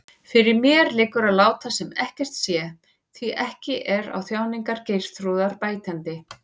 Fyrir mér liggur að láta sem ekkert sé, því ekki er á þjáningar Geirþrúðar bætandi.